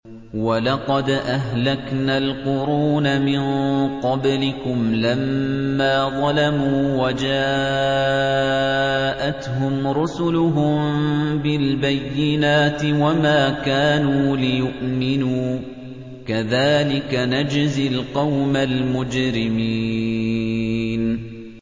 وَلَقَدْ أَهْلَكْنَا الْقُرُونَ مِن قَبْلِكُمْ لَمَّا ظَلَمُوا ۙ وَجَاءَتْهُمْ رُسُلُهُم بِالْبَيِّنَاتِ وَمَا كَانُوا لِيُؤْمِنُوا ۚ كَذَٰلِكَ نَجْزِي الْقَوْمَ الْمُجْرِمِينَ